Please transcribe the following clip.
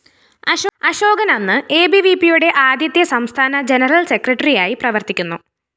അശോകന്‍ അന്ന് എബിവിപിയുടെ ആദ്യത്തെ സംസ്ഥാന ജനറൽ സെക്രട്ടറിയായി പ്രവര്‍ത്തിക്കുന്നു